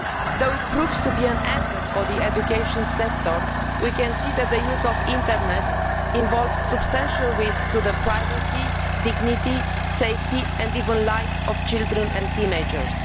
Though it proves to be an asset for the education sector we can see that the use of the internet involves substantial risk to the privacy, dignity, safety and even the life of children and teenagers.